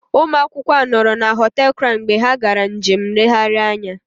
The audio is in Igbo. Ụmụ akwụkwọ a nọrọ na họtel Crown mgbe ha gara njem nlegharị anya